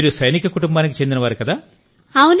మీరు సైనిక కుటుంబానికి చెందినవారు కదా